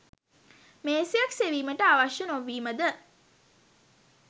මේසයක් සෙවීමට අවශ්‍ය නොවීමද